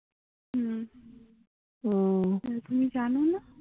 হম তুমি জানো না?